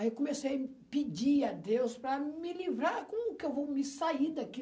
Aí eu comecei a pedir a Deus para me livrar, como que eu vou me sair daqui?